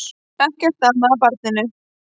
Ekkert amaði að barninu.